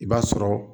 I b'a sɔrɔ